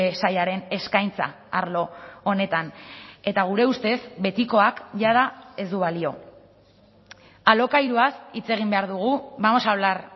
sailaren eskaintza arlo honetan eta gure ustez betikoak jada ez du balio alokairuaz hitz egin behar dugu vamos a hablar